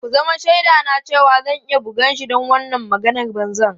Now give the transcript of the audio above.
Ku zama shaidana cewa zan iya bugan shi don wannan maganar banza.